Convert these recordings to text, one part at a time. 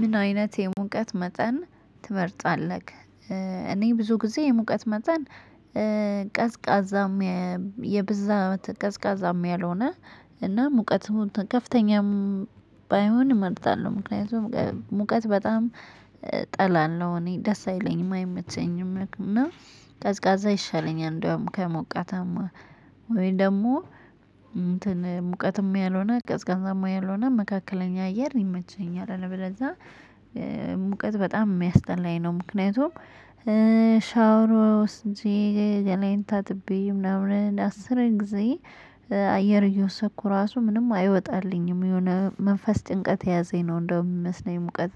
ምን አይነት የሙቀት መጠን ትመርጣለህ? እኔ ብዙ ጊዜ የሙቀት መጠን ቀዝቃዛም የብዛት ቀዝቃዛም ያልሆነ እና ሙቀት ከፍተኛም ባይሆን እመርጣለሁ። ምክንያቱም ሙቀት በጣም ጠላለሁ እኔ ደስ አይለኝም አይመቸኝም እና ቀዝቃዛ ይሻለኛል። እንደውም ከሞቃታማ ወይ ደግሞ እንትን ሙቀትም ያልሆነ ቀዝቃዛም ያልሆነ መካከለኛ አየር ይመቸኛል። አይደለ በደንብ ሙቀት በጣም የሚያስጠላኝ ነው። ምክንያቱም ሻውሮ እንጂ ገላይን ታጥብይ ምናምን አስርን ጊዜ አየር እየወሰኩ ራሱ ምንም አይወጣልኝም የሆነ መንፈስ ጭንቀት ያዘኝ ነው። እንደውም የሚመስለኝ ሙቀት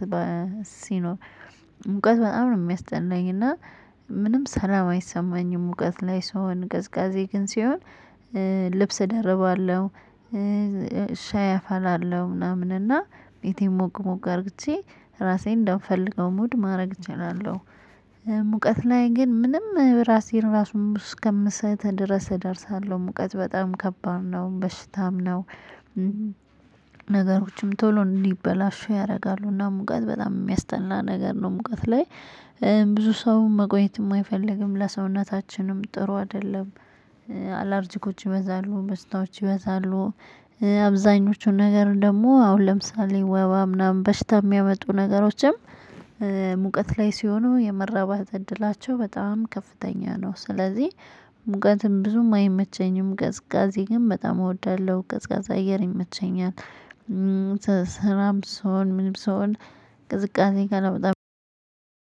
ሲኖር ሙቀት በጣም ነው የሚያስደናኝ እና ምንም ሰላም አይሰማኝም። ሙቀት ላይ ሰው አንገዝጋዜ ግን ሲሆን ልብስ እደርባለሁ። ሻይ አፋላለሁ ምናምን እና የት ሞቅ ሞቅ አድርጌ ራሴን እንደምፈልገው መውድ ማድረግ እችላለሁ። ሙቀት ላይ ግን ምንም ራሴን ራሱን እስከምሰጥ ድረስ እደርሳለሁ ሙቀት በጣም ከባድ ነው በሽታም ነው። ነገሮችም ቶሎ እንዲበላሹ ያደርጋሉ እና ሙቀት በጣም የሚያስተናን ነገር ነው። ሙቀት ላይ ብዙ ሰው መቆየት የማይፈልግም ለሰውነታችንም ጥሩ አይደለም። አላርጂኮች ይበዛሉ በስታዎች ይበዛሉ አብዛኞቹን ነገር ደግሞ አሁን ለምሳሌ ወባ ምናምን በሽታ የሚያመጡ ነገሮችም። ሙቀት ላይ ሲሆኑ የመራባት እድላቸው በጣም ከፍተኛ ነው። ስለዚህ ሙቀትም ብዙም አይመቸኝም ገዝጋዜ ግን በጣም እወዳለሁ ገዝጋዛ አየር ይመቸኛል። ስራም ሰው ምንም ሰው ቅዝቃዜ ጋር ለብሳለሁ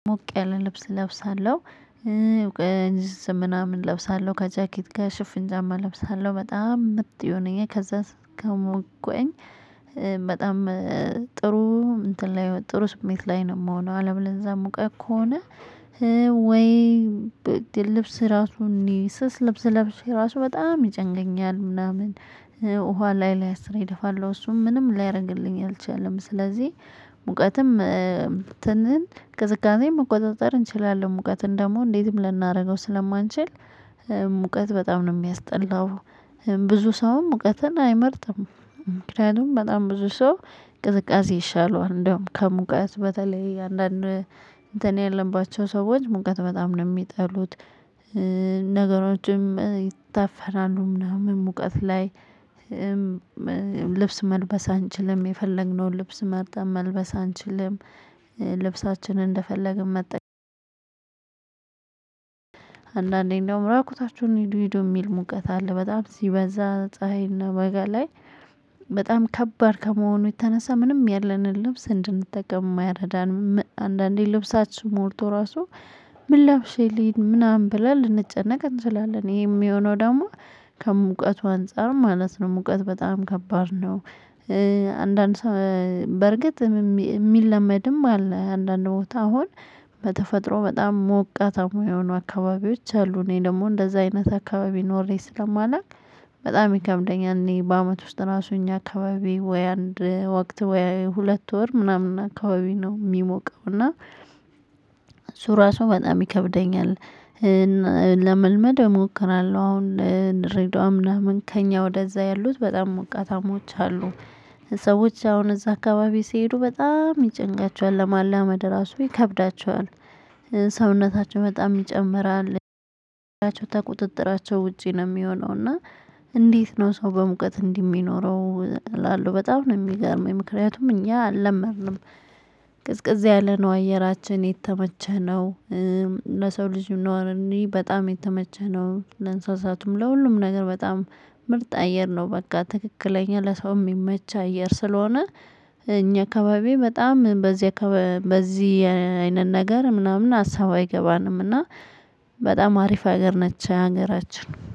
ሞቅ ያለ ልብስ እለብሳለሁ ምናምን እለብሳለሁ ከጃኬት ጋር ሽፍን ጃማ እለብሳለሁ። በጣም ምጥ የሆነኝ ከዛ ከሞቅኩኝ በጣም ጥሩ እንትን ላይ ጥሩ ስሜት ላይ ነው የምሆነው። አለም ለዛ የምቆየው ከሆነ ወይ ልብስ ራሱ እንዲህ ስስ ልብስ ለብሼ ራሱ በጣም ይጨንቀኛል። ምናምን ውሃ ላይ ላይ አስረኝ እደፋለሁ እሱም ምንም ላይረግልኝ ሊያደርግልኝ አልቻለም። ስለዚህ ሙቀትም ትንን ከዝቅዝቅ መቆጣጠር እንችላለን። ሙቀትን ደግሞ እንዴትም ልናደርገው ስለማንችል ሙቀት በጣም ነው የሚያስጠላው። ብዙ ሰውም ሙቀትን አይመርጥም ምክንያቱም በጣም ብዙ ሰው ቅዝቃዜ ይሻለዋል። እንደውም ከሙቀት በተለይ አንዳንድ እንትን ያለባቸው ሰዎች ሙቀት በጣም ነው የሚጠሉት። ነገሮችም ይታፈራሉ ምናምን ሙቀት ላይ ልብስ መልበስ አንችልም የፈለግነውን ልብስ መርጠን መልበስ አንችልም። ልብሳችንን እንደፈለግን መጠቀም አንዳንዴ እንደውም ራቁታችሁን ሄዶ ሄዶ የሚል ሙቀት አለ። በጣም እዚህ በዛ ፀሀይና በጋ ላይ በጣም ከባድ ከመሆኑ የተነሳ ምንም ያለንን ልብስ እንድንጠቅም የማያረዳን አንዳንዴ ልብሳችሁ ሞልቶ ራሱ ምን ለብሼ ልሂድ ምናምን ብላ ልንጨነቅ እንችላለን። ይሄ የሚሆነው ደግሞ ከሙቀቱ አንፃር ማለት ነው። ሙቀት በጣም ከባድ ነው። አንዳንድ ሰው በርግጥ የሚለመድም አለ። አንዳንድ ቦታ አሁን በተፈጥሮ በጣም ሞቃት አሙ የሆኑ አካባቢዎች አሉ። እኔ ደግሞ እንደዛ አይነት አካባቢ ኖሬ ስለማላውቅ በጣም ይከምደኛል። እኔ በአመት ውስጥ ራሱ እኛ አካባቢ ወይ አንድ ወቅት ወይ ሁለት ወር ምናምን አካባቢ ነው የሚሞቀው እና። ሱራ ሰው በጣም ይከብደኛል። ለመልመድ እሞክራለሁ አሁን ልንረዳው ምናምን ከእኛ ወደዛ ያሉት በጣም ሞቃታሞች አሉ። ሰዎች አሁን እዛ አካባቢ ሲሄዱ በጣም ይጨንቃቸዋል ለማላመድ ራሱ ይከብዳቸዋል። ሰውነታቸው በጣም ይጨምራል። ተቁጥጥራቸው ውጪ ነው የሚሆነው። እና እንዴት ነው ሰው በሙቀት እንዲህ የሚኖረው እላለሁ። በጣም ነው የሚገርመው። ምክንያቱም እኛ አልለመድንም። ቅዝቅዝ ያለ ነው አየራችን የተመቸህ ነው። ለሰው ልጅ ነው እንይ በጣም የተመቸህ ነው ለእንስሳቱም ለሁሉም ነገር በጣም ምርጥ አየር ነው። በቃ ትክክለኛ ለሰው የሚመች አየር ስለሆነ። እኛ አካባቢ በጣም በዚህ በዚህ አይነት ነገር ምናምን ሀሳብ አይገባንም አይገባንምና። በጣም አሪፍ ሀገር ነች ሀገራችን